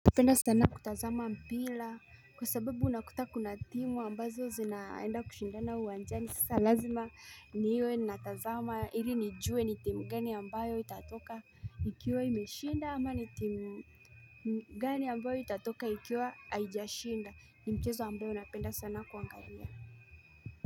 Napenda sana kutazama mpira kwa sababu unakuta kuna timu ambazo zinaenda kushindana uwanjani sasa lazima niwe natazama ili nijue ni timu gani ambayo itatoka ikiwa imeshinda ama ni timu gani ambayo itatoka ikiwa haijashinda ni mchezo ambayo napenda sana kuangalia.